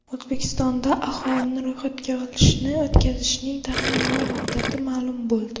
O‘zbekistonda aholini ro‘yxatga olishni o‘tkazishning taxminiy muddati ma’lum bo‘ldi.